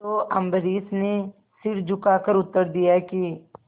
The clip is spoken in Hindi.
तो अम्बरीश ने सिर झुकाकर उत्तर दिया कि